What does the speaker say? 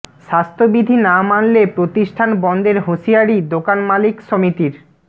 স্বাস্থ্যবিধি না মানলে প্রতিষ্ঠান বন্ধের হুঁশিয়ারি দোকান মালিক সমিতির